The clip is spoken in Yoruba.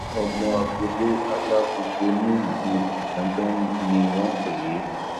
ọmọ agboolé alágbogbo nílùú igangan ni wọn pè é